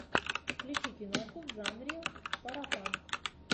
включи киноху в жанре паропанк